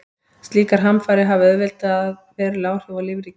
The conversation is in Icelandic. Slíkar hamfarir hafa auðvitað veruleg áhrif á lífríkið.